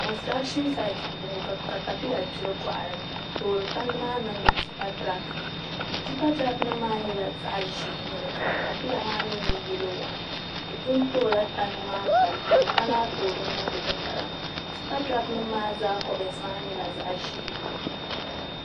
Konstiration saad n boŋo ka katapila gbiri boɣali n toori tandi maa niŋdi tipa tirak ni tipa tirak nim maa nyɛla zaɣ ʒiɛ n nyɛli ka latapila maa mii nyɛ yɛlo waan di pun toola tandi maa pali yino ka lahi toori niŋdi dinbala maa ni tipa tirak nim maa zaa ko yinsi maa nyɛla zaɣ ʒiɛ